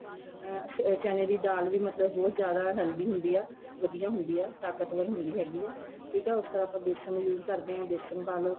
ਆ ਚਨੇ ਦੀ ਦਾਲ ਵੀ ਮਤਲਬ ਬਹੁਤ ਜਿਆਦਾ healthy ਹੁੰਦੀ ਏ ਵਧੀਆ ਹੁੰਦੀ ਏ ਤਾਕਤਵਰ ਹੁੰਦੀ ਹੈਗੀ ਏ ਠੀਕ ਏ ਉਸ ਤਰ੍ਹਾਂ ਆਪਾਂ ਬੇਸਣ use ਕਰਦੇ ਆ ਬੇਸਣ ਪਾ ਲੋ